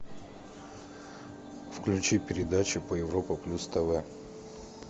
включи передачу по европа плюс тв